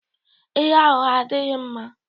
Ịgha ụgha adịghị mma